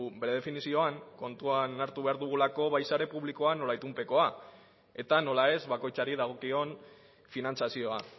bere definizioan kontuan hartu behar dugulako bai sare publikoa zein itunpekoa eta nola ez bakoitzari dagokion finantzazioa